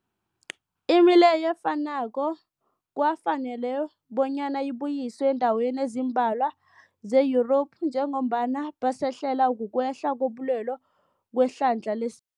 Imileyo efanako kwafanela bonyana ibuyiswe eendaweni ezimbalwa ze-Yurophu njengombana basahlelwa, kukwehla kobulwele kwehlandla les